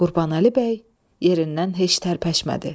Qurbanəli bəy yerindən heç tərpəşmədi.